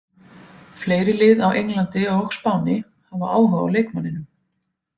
Fleiri lið á Englandi og Spáni hafa áhuga á leikmanninum.